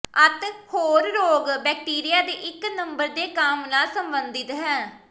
ਅਤੇ ਹੋਰ ਰੋਗ ਬੈਕਟੀਰੀਆ ਦੇ ਇੱਕ ਨੰਬਰ ਦੇ ਕੰਮ ਨਾਲ ਸੰਬੰਧਿਤ ਹੈ